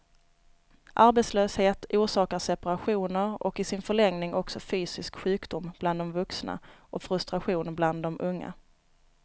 Arbetslöshet orsakar separationer och i sin förlängning också fysisk sjukdom bland de vuxna och frustration bland de unga.